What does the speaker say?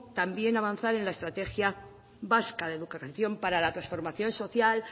avanzar en la estrategia vasca de cooperación para la transformación social